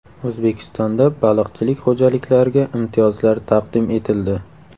O‘zbekistonda baliqchilik xo‘jaliklariga imtiyozlar taqdim etildi.